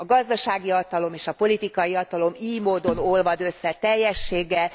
A gazdasági hatalom és a politikai hatalom ily módon olvad össze teljességgel.